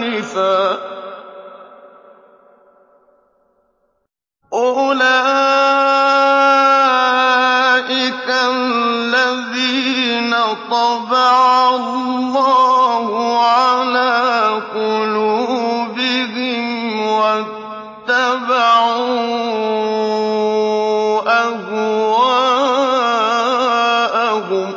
آنِفًا ۚ أُولَٰئِكَ الَّذِينَ طَبَعَ اللَّهُ عَلَىٰ قُلُوبِهِمْ وَاتَّبَعُوا أَهْوَاءَهُمْ